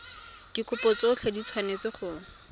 dikopo tsotlhe di tshwanetse go